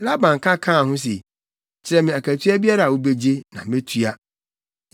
Laban ka kaa ho se, “Kyerɛ me akatua biara a wubegye, na metua.”